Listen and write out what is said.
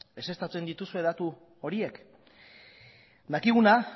ezeztatzen dituzue datu horiek dakiguna